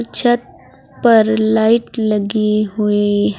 छत पर लाइट लगी हुई--